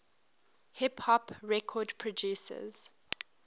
hip hop record producers